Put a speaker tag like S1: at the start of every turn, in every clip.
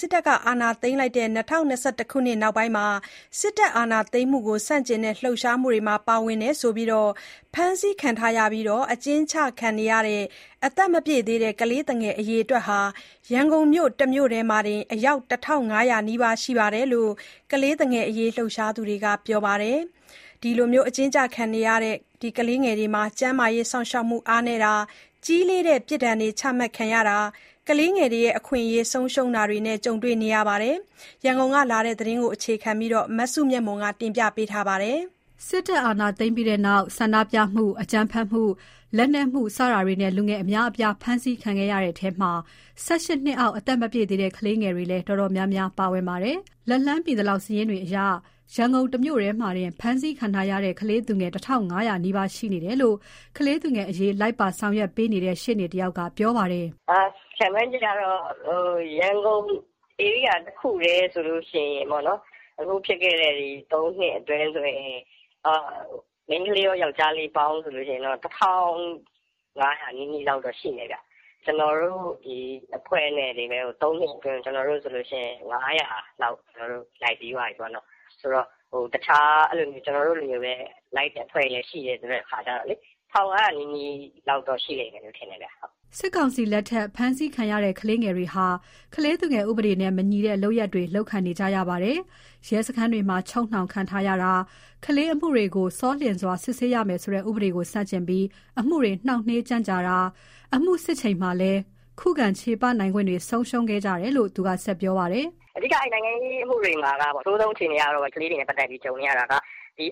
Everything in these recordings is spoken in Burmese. S1: စစ်အာဏာသိမ်းတဲ့ ၂၀၂၁ ခုနှစ်နောက်ပိုင်း အာဏာသိမ်းမှုကိုဆန့်ကျင်တဲ့ လှုပ်ရှားမှုတွေမှာ ပါဝင်တယ်ဆိုပြီး ဖမ်းဆီးခံရပြီး အကျဉ်းချခံရတဲ့ အသက်မပြည့်သေးသူ ကလေးသူငယ် အရေအတွက်ဟာ ရန်ကုန်တမြို့တည်းမှာတင် အယောက် ၁၅၀၀ နီးပါးရှိတယ်လို့ ကလေးသူငယ်အရေး လှုပ်ရှားသူတွေကပြောပါတယ်။ ကျန်းမာရေးစောင့်ရှောက်မှု အားနည်းတာ၊ ကြီးလေးတဲ့ ပြစ်ဒဏ်တွေချတာ၊ ကလေးငယ်အခွင့်အရေးဆုံးရှုံးတာတွေ ကြုံနေကြရပါတယ်။ ရန်ကုန်ကလာတဲ့သတင်းကို အခြေခံပြီး မစုမြတ်မွန်က တင်ပြထားပါတယ်။ စစ်တပ်အာဏာသိမ်းပြီးတဲ့နောက် ဆန္ဒပြမှု၊ အကြမ်းဖက်မှု လက်နက်မှု စတာတွေနဲ့ လူငယ်အများအပြားဖမ်းဆီးခံရတဲ့ထဲမှာ ၁၈ နှစ်အောက် အသက်မပြည့်သေးတဲ့ ကလေးငယ်တွေလည်း တော်တော်များများ ပါဝင်ပါတယ်။ လက်လှမ်းမီသလောက်စာရင်းတွေအရ ရန်ကုန် တမြို့ထဲမှာတင် ဖမ်းဆီးခံထားရတဲ့ ကလေးသူငယ် ၁၅၀၀ နီးပါးရှိနေတယ်လို့ ကလေးသူငယ်အရေး လိုက်ပါဆောင်ရွက်ပေးနေတဲ့ ရှေ့နေတဦးက ပြောပါတယ်။
S2: "ခန့်မှန်းကြည့်တာတော့ ရန်ကုန်ဧရိယာတခုထဲတင်ပေါ့နော်။ အခုဖြစ်ခဲ့တဲ့ ၃ နှစ်အတွင်းဆိုရင် မိန်းကလေးရော၊ ယောင်္ကျားလေးပါ။ ၁၅၀၀ နီးနီးရှိတယ်။ ကျနော်တို့အဖွဲ့တခုထဲတင် ကျနော်တို့ အဖွဲ့တင် ၃ နှစ်အတွင်း အမှုပေါင်း ၅၀၀ လောက် လိုက်ပြီးသွားပြီ။ တခြားကျနော်တို့လို လိုက်ပေးတာတွေရှိတော့လေ ၁၅၀၀နီးနီးရှိလိမ့်မယ်ထင်တယ်။
S1: " စစ်ကောင်စီလက်ထက် ဖမ်းဆီးခံရတဲ့ ကလေးငယ်တွေဟာ ကလေးသူငယ်ဥပဒေနဲ့ မညီတဲ့ လုပ်ရပ်တွေ လုပ်ခံနေကြရပါတယ်။ ရဲစခန်းတွေမှာ ချုပ်နှောင်ထားတာ၊ ကလေးအမှုတွေကို ဆောလျင်စွာ စစ်ဆေးရမယ်ဆိုတဲ့ ဥပဒေကို ဆန့်ကျင်ပြီး အမှုတွေ နှောင့်နှေး ကြန့်ကြာတာ၊ အမှုစစ်ချိန်မှာလည်း ခုခံချေပနိုင်ခွင့်တွေ ဆုံးရှုံးခဲ့ကြတယ်လို့ သူကဆက်ပြောပြပါတယ်။
S2: "အဓိကနိုင်ငံရေးအမှုတွေမှာ ကလေးတွေနဲ့ပတ်သက်လို့ အဆိုးဆုံးကြုံနေရတာက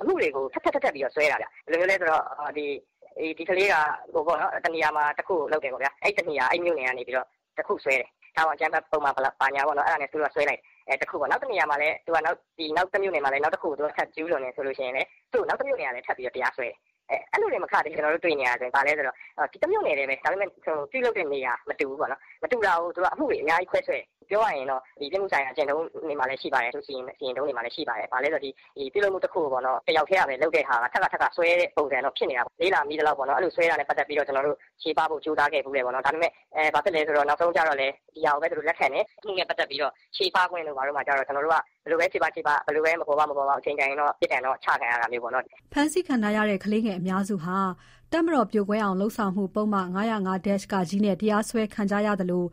S2: အမှုတွေကိုထပ်ထပ် ပြီးစွဲတာ။ ဘယ်လိုလဲဆို ဒီကလေးကတနေရာမှာ တခုလုပ်တယ်ပေါ့။ အဲတနေရာအဲမြို့နယ်ကနေ တခုစွဲတယ်။ ထားပါ။ အကြမ်းဖက်ပုဒ်မဘယ်လောက်နဲ့စွဲတယ်။ နောက်တနေရာနောက်တခုကျူးလွန်တယ်ဆို ရင် နောက်သူ့ကိုနောက်တမြို့နယ်ကလည်းသူ့ကိုထပ်တရားစွဲတယ်။ အဲလိုမကသေးဘူးကျနော်တို့တွေ့ နေရတာက တမြို့နယ်ထဲပြုလုပ်တဲ့နေရာမတူဘူး မတူတာကိုသူတို့ကအမှုတွေအများကြီးခွဲစွဲတယ်။ ပြောရရင်ပြစ်မှုဆိုင်ရာကျင့်ထုံး၊ စီရင်ထုံးတွေမှာရှိပါတယ်။ ပြုလုပ်မှုတခုကိုတယောက်ထဲကလုပ်တာ ထပ်ခါထပ်ခါစွဲတဲ့ပုံစံဖြစ်နေတယ်။ လေ့လာမိသလောက် အဲလိုစွဲတာကိုချေပဖို့ကျနော်တို့ကြိုးစားခဲ့ ဖူးတယ်။ ဒါပေမယ့် ဒီဟာကိုဘဲလက်ခံတယ်။ အမှုနဲ့ပတ်သက်လို့ ဘယ်လိုဘဲချေပချေပ ဘယ်လိုပဲ မပေါ်ပေါက် အချိန်တန်ရင်တော့ ပြစ်ဒဏ်ချခံရတာမျိုးပေါ့"
S1: ဖမ်းဆီးခံထားရတဲ့ ကလေးငယ်အများစုဟာ တပ်မတော်ပြိုကွဲအောင်လုပ်ဆောင်မှု ပုဒ်မ ၅၀၅-က နဲ့ တရားစွဲခံထားရသလို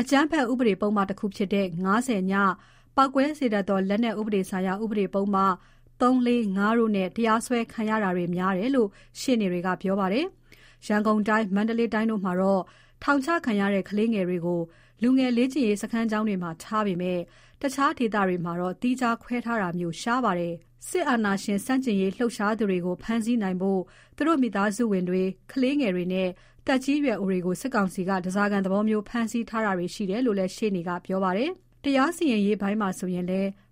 S1: အကြမ်းဖက်ဥပဒေပုဒ်မတခုဖြစ်တဲ့ ၅၀ (ည)၊ ပေါက်ကွဲစေတတ်သော လက်နက်ဥပဒေဆိုင်ရာပုဒ်မ ၃၊ ၄၊ ၅ တို့နဲ့ တရားစွဲခံရတာတွေများတယ်လို့ ရှေ့နေတွေကပြောပါတယ်။ ရန်ကုန်တိုင်း၊ မန္တလေးတိုင်းတို့မှာတော့ ထောင်ချခံရတဲ့ ကလေးငယ်တွေကို လူငယ်လေ့ကျင့်ရေး စခန်းကျောင်းတွေမှာ ထားပေမယ့် တခြားဒေသတွေမှာတော့ သီးခြားခွဲထားတာမျိုး ရှားပါတယ်။ စစ်အာဏာရှင်ဆန့်ကျင်ရေး လှုပ်ရှားသူတွေကို ဖမ်းဆီးနိုင်ဖို့ သူတို့မိသားစုဝင် ကလေးငယ်တွေနဲ့ သက်ကြီးရွယ်အိုတွေကို စစ်ကောင်စီက ဓားစာခံသဘောမျိုး ဖမ်းဆီးထားတာတွေ ရှိတယ်လို့လည်း ရှေ့နေကပြောပါတယ်။ တရားစီရင်ရေးပိုင်းမှာဆိုလည်း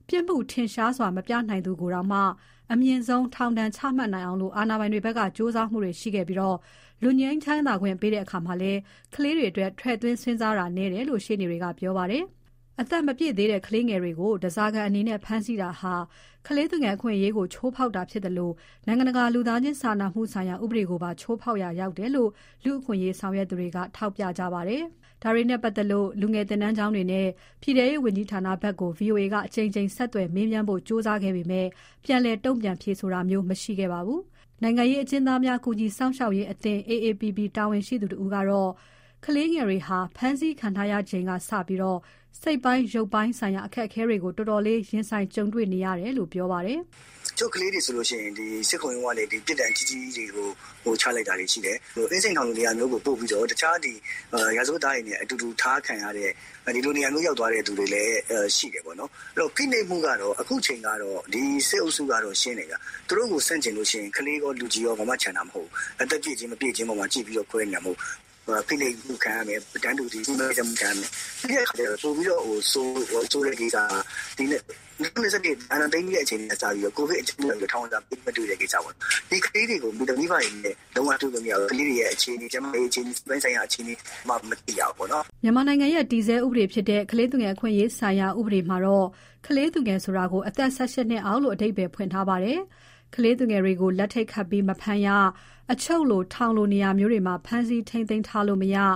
S1: ပြစ်မှုထင်ရှားစွာမပြနိုင်သူကိုတောင် အမြင့်ဆုံးထောင်ဒဏ်ချမှတ်နိုင်အောင် အာဏာပိုင်တွေဘက်က ကြိုးစားမှုတွေရှိခဲ့ပြီး လွတ်ငြိမ်းခွင့်ပေးတဲ့အခါတွေမှာလည်း ကလေးတွေအတွက် ထည့်သွင်းစဉ်းစားတာ နည်းတယ်လို့ ရှေ့နေတွေက ပြောပါတယ်။ အသက်မပြည့်သေးတဲ့ ကလေးငယ်တွေကို ဓားစာခံအနေနဲ့ ဖမ်းဆီးတာဟာ ကလေးသူငယ် အခွင့်အရေးကို ချိုးဖောက်တာဖြစ်သလို နိုင်ငံတကာ လူသားချင်းစာနာမှုဆိုင်ရာ ဥပဒေကိုပါ ချိုးဖောက်ရာရောက်တယ်လို့ လူ့အခွင့်အရေး လှုပ်ရှားသူတွေက ထောက်ပြကြပါတယ်။ ဒါတွေနဲ့ပတ်သက်လို့ လူငယ်သင်တန်းကျောင်းတွေနဲ့ ပြည်ထဲရေးဝန်ကြီးဌာနဘက်ကို VOA က အကြိမ်ကြိမ် ဆက်သွယ် မေးမြန်းဖို့ကြိုးစားခဲ့ပေမယ့် ပြန်လည် တုန့်ပြန်ဖြေဆိုတာမျိုး မရှိခဲ့ပါဘူး။ နိုင်ငံရေးအကျဉ်းသားများ ကူညီစောင့်ရှောက်ရေးအသင်း AAPP ကတာဝန်ရှိသူတဦးကတော့ ကလေးငယ်တွေဟာ ဖမ်းဆီးခံထားရချိန်ကစလို့ စိတ်ပိုင်း ရုပ်ပိုင်းဆိုင်ရာအခက်အခဲတွေကို တော်တော်လေး ရင်ဆိုင်ကြုံတွေ့နေရတယ်လို့ ပြောပါတယ်။
S2: "တချို့ကလေးတွေဆို စစ်ခုံရုံးကနေ ပြစ်ဒဏ်ကြီးကြီးတွေချမှတ်လိုက်တာတွေရှိတယ်။ အင်းစိန်ထောင်လိုနေရာမျိုး ပို့ပြီးတော့တခြားရာဇဝတ်သားတွေနဲ့အတူတူထားခံရတဲ့ ဒီလိုနေရာမျိုးရောက်သွား သူတွေလည်းရှိတယ်။ ဖိနှိပ်မှုကတော့အခုအချိန်ကတော့ ဒီစစ်အုပ်စုကတော့ရှင်းတယ်။ သူတို့ကိုဆန့် ကျင်ရင်ကလေးကောလူကြီးကောဘာမှချန်တာမဟုတ်ဘူး။ အသက်ပြည့်ခြင်းမပြည့်ခြင်းပေါ်မှာခွဲနေ တာမဟုတ်ဘူး။ ဖိနှိပ်တာ တန်းတူညှင်းပန်းနှိပ်စက်တာခံရတယ်။ နောက်ပိုဆိုးတာက ၂၀၂၁ အာဏာသိမ်းပြီးထဲကနေ ခုထိကိုဗစ်အကြောင်းပြပြီး ထောင်ဝင်စာပေးမတွေ့တဲ့ကိစ္စပါ။ ဒီကလေးတွေကို မိဘတွေနဲ့ ကလေးတွေအခြေအနေကျန်းမာရေးအခြေအနေစိတ်ပိုင်
S1: းဆိုင်ရာအခြေအနေ ဘာဖြစ်နေလဲ ဘာမှမသိရဘူး။" မြန်မာနိုင်ငံရဲ့ တည်ဆဲဥပဒေဖြစ်တဲ့ ကလေးသူငယ်အခွင့်အရေးများဆိုင်ရာ ဥပဒေမှာတော့ ကလေး သူငယ်ဆိုတာကို ၁၈ နှစ်အောက်လို့ အဓိပ္ပါယ်ဖွင့်ထားပါတယ်။ ကလေးသူငယ်တွေကို လက်ထိပ်ခတ်ပြီး မဖမ်းရ၊ အချုပ်လို ထောင်လိုနေရာမျိုးတွေမှာ ဖမ်းဆီးထိန်းသိမ်းထားလို့ မရ၊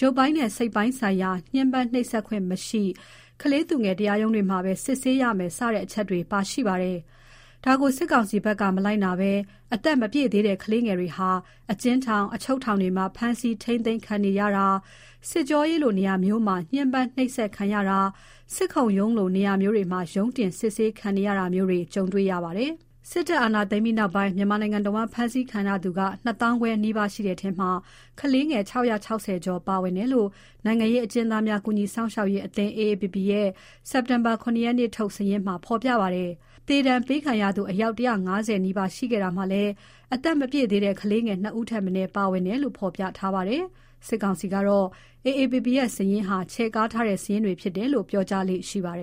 S1: ရုပ်ပိုင်းနဲ့ စိပ်ပိုင်းဆိုင်ရာ ညှင်းပန်းနှိပ်စက် ခွင့်မရှိ၊ ကလေးသူငယ်တရားရုံးတွေမှာပဲ စစ်ဆေးရမယ် စတဲ့အချက်တွေ ပါရှိပါတယ်။ ဒါကိုစစ်ကောင်စီဘက်က မလိုက်နာဘဲ အသက်မပြည့်သေးတဲ့ ကလေးသူငယ်တွေဟာ အကျဉ်းထောင်၊ အချုပ်ထောင်ထဲ မှာ ဖမ်းဆီးထိန်းသိမ်းခံနေရတာ၊ စစ်ကြောရေးလိုနေရာမျိုးမှာ ညှင်းပန်းနှိပ်စက်ခံရတာ၊ စစ်ခုံရုံးလို နေရာမျိုးတွေမှာ ရုံးတင်စစ်ဆေး ခံနေရတာမျိုးတွေ ကြုံရတာပါ။ စစ်တပ်အာဏာသိမ်းပြီးနောက်ပိုင်း မြန်မာနိုင်ငံတဝန်း ဖမ်းဆီးခံရသူ ၂၅၀၀၀ နီးပါးရှိတဲ့ထဲမှာ ကလေးငယ် ၆၆၀ ကျော် ပါဝင်တယ်လို့ နိုင်ငံရေးအကျဉ်းသား များ ကူညီစောင့်ရှောက်ရေးအသင်း AAPP ရဲ့ စက်တင်ဘာ ၇ ရက်နေ့အထိ စာရင်းမှာ ဖော်ပြပါ တယ်။ သေဒဏ်ပေးခံရသူ အယောက် ၁၅၀ နီးပါးရှိခဲ့တာမှာ အသက်မပြည်တဲ့ ကလေးငယ် ၂ ဦးထက်မနည်းပါဝင်တယ်လို့ ဖော်ပြထားပါတယ်။ စစ်ကောင်စီကတော့ AAPP ရဲ့စာရင်းဟာ ချဲ့ကားထားတဲ့ စာရင်းတွေဖြစ်တယ်လို့ ပြောကြားလေ့ ရှိပါတယ်